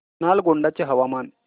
नालगोंडा चे हवामान